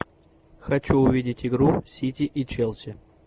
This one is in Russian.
хочу увидеть игру сити и челси